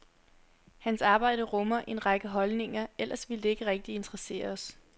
Hans arbejde rummer en række holdninger, ellers ville det ikke rigtig interessere os.